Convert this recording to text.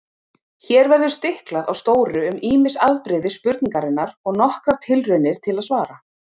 Hér verður stiklað á stóru um ýmis afbrigði spurningarinnar og nokkrar tilraunir til svara.